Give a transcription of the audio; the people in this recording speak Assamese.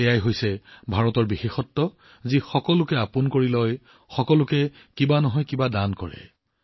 এইটোৱেই ভাৰতৰ বিশেষত্ব যে ই সকলোকে গ্ৰহণ কৰে ই সকলোকে কিবা নহয় কিবা এটা দিয়ে